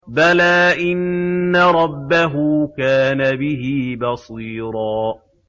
بَلَىٰ إِنَّ رَبَّهُ كَانَ بِهِ بَصِيرًا